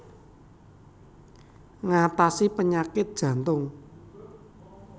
Ngatasi penyakit jantung